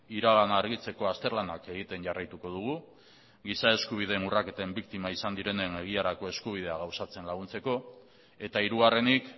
iragana argitzeko azterlanak egiten jarraituko dugu giza eskubideen urraketen biktima izan direnen egiarako eskubidea gauzatzen laguntzeko eta hirugarrenik